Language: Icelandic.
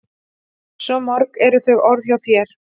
Svo mörg eru þau orð hjá þér.